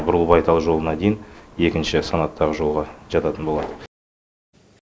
бурылбайтал жолына дейін екінші санаттағы жолға жататын болады